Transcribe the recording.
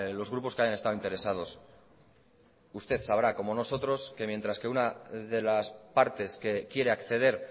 los grupos que han estado interesados usted sabrá como nosotros que mientras que una de las partes que quiere acceder